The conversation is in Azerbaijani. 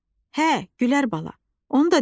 Hə, Gülər bala.